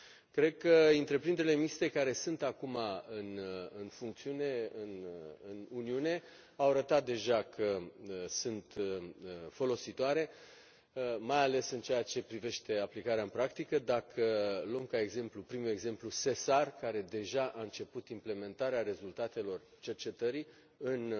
Cred că întreprinderile mixte care sunt acum în funcțiune în Uniune au arătat deja că sunt folositoare, mai ales în ceea ce privește aplicarea în practică, mai ales dacă luăm ca exemplu, ca prim exemplu, SESAR care deja început implementarea rezultatelor cercetării în